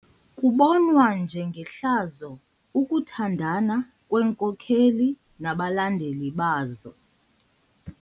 Kubonwa njengehlazo ukuthandana kweenkokeli nabalandeli bazo.